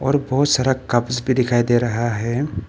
और बहुत सारा कप्स भी दिखाई दे रहा है।